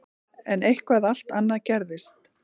En eitthvað allt annað gerðist.